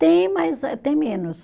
Tem, mas eh tem menos.